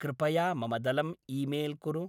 कृपया मम दलम् ईमेल् कुरु।